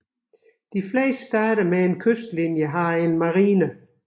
De fleste stater med en kystlinje har en marine